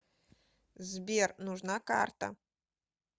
сбер нужна карта